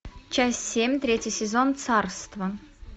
часть семь третий сезон царство